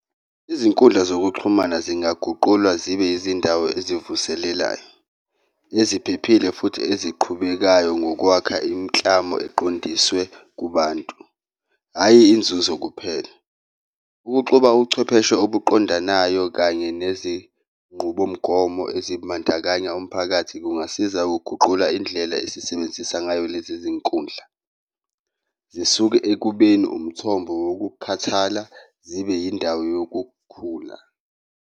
Izinkundla zokuxhumana zingaguqulwa zibe izindawo ezivuselelayo, eziphephile futhi eziqhubekayo ngokwakha imiklamo eqondiswe kubantu hhayi inzuzo kuphela, ukuxuba uchwepheshe obuqondanayo kanye nezinqubomgomo ezimandakanya umphakathi kungasiza uguqula indlela esisebenzisa ngayo lezi zinkundla. Zisuke ekubeni umthombo wokukhathala zibe yindawo yokukhula.